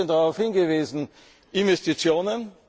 Sie haben ein bisschen darauf hingewiesen Investitionen.